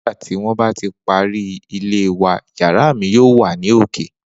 Nigbati won ba ti pari ile wa yara mi yoo wa ni oke